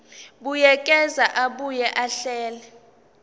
buyekeza abuye ahlele